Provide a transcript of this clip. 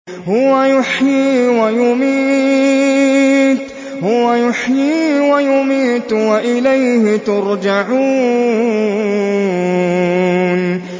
هُوَ يُحْيِي وَيُمِيتُ وَإِلَيْهِ تُرْجَعُونَ